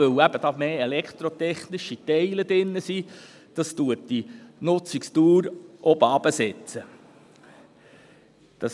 Dies, weil elektrotechnische Teile enthalten sind, sodass die Nutzungsdauer herabgesetzt wird.